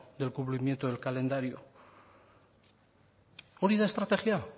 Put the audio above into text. del cumplimiento del calendario hori da estrategia